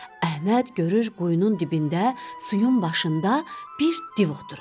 Əhməd görür quyunun dibində suyun başında bir div oturub.